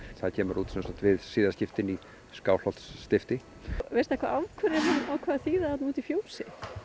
það kemur út við siðaskiptin í Skálholtsstifti veistu af hverju hann ákvað að þýða úti í fjósi